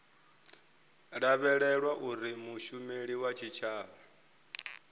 lavhelelwa uri mushumeli wa tshitshavha